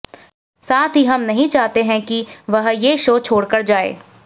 साथ ही हम नहीं चाहते हैं कि वह ये शो छोड़कर जाएं